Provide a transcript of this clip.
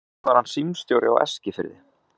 Einnig var hann símstjóri á Eskifirði.